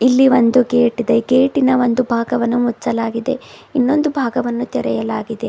ಇಲ್ಲಿ ಒಂದು ಗೇಟಿದೆ ಗೇಟಿನ ಒಂದು ಭಾಗವನ್ನು ಮುಚ್ಚಲಾಗಿದೆ ಇನ್ನೊಂದು ಭಾಗವನ್ನು ತೆರೆಯಲಾಗಿದೆ.